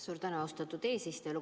Suur tänu, austatud eesistuja!